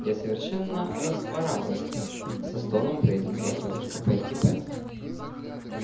я совершенно расхворалась со стоном произнесла тётушка питтипэт